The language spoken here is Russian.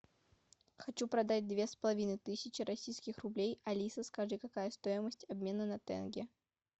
хочу продать две с половиной тысячи российских рублей алиса скажи какая стоимость обмена на тенге